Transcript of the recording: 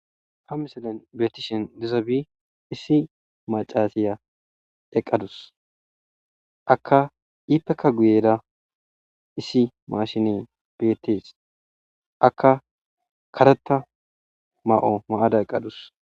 Ha missileza bolla bettizayiss issi macasiya eqadus ippekka guyera issi mashinney bettes akka karetha mayo mayada eqadus